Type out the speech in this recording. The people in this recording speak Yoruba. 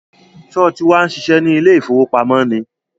Sọ ti wá ń ṣiṣẹ́ ní ilé ìfowópamọ́ ni?